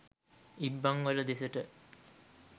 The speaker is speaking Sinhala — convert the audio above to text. ඉබ්බන්වල දෙසට.